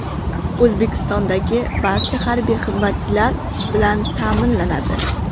O‘zbekistondagi barcha harbiy xizmatchilar ish bilan ta’minlanadi.